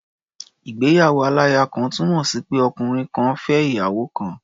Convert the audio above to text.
Ìgbéyàwó-aláya-kan túnmọ̀ sí pé ọkùnrin kan fẹ́ ìyàwó kan.